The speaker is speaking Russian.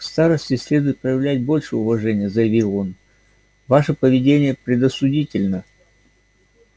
к старосте следует проявлять большее уважение заявил он ваше поведение предосудительно